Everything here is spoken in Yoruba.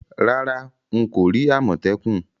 Rárá, n ko ri àmòtẹ́kùn